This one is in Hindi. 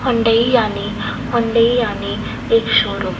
हुंडई यानी हुंडई यानी एक शोरूम --